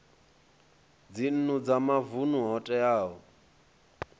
dzinnu dza mavunu ho teaho